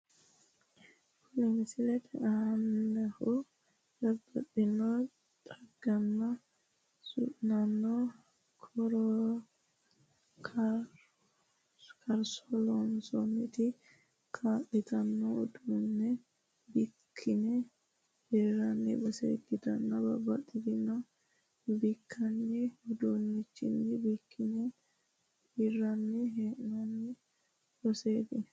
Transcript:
Kuni misilete aanihu babbaxino xagganna su'naanno karso loosate kaa'lanno uduunne bikkine hiraanni base ikkitanna babbaxino bikkinanni uduunnichinni bikkine hirranni hee'noonni baseeti.